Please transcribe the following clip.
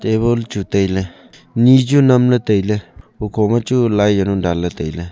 tabul chu tailey ni chu namle tailey hukho ma chu lai jawnu danle tailey.